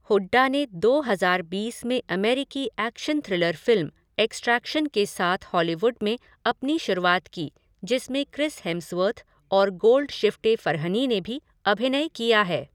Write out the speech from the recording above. हुड्डा ने दो हज़ार बीस में अमेरिकी एक्शन थ्रिलर फ़िल्म एक्सट्रैक्शन के साथ हॉलीवुड में अपनी शुरुआत की जिसमें क्रिस हेम्सवर्थ और गोल्डशिफ़्टे फ़रहनी ने भी अभिनय किया है।